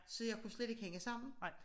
Så jeg kunne slet ikke hænge sammen